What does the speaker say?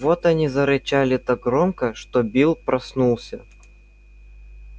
вот они зарычали так громко что билл проснулся